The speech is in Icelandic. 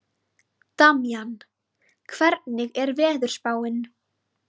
Damjan, hvernig er veðurspáin?